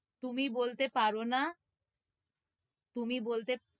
তুমি বলতে পারনা। তুমি বলতে,